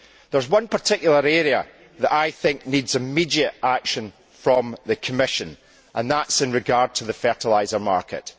There is one particular area that I think needs immediate action from the Commission, and that is in regard to the fertiliser market.